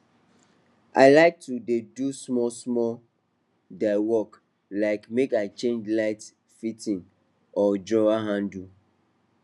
i like to dey do smallsmall diy work like make i change light fitting or drawer handle